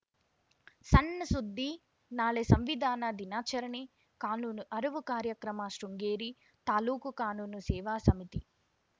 ಸಣ್‌ ಸುದ್ದಿ ನಾಳೆ ಸಂವಿಧಾನ ದಿನಾಚರಣೆ ಕಾನೂನು ಅರಿವು ಕಾರ್ಯಕ್ರಮ ಶೃಂಗೇರಿ ತಾಲೂಕು ಕಾನೂನು ಸೇವಾ ಸಮಿತಿ